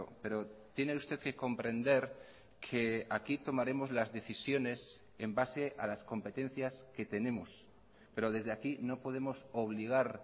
pero tiene usted que comprender que aquí tomaremos las decisiones en base a las competencias que tenemos pero desde aquí no podemos obligar